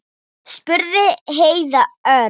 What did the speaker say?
spurði Heiða örg.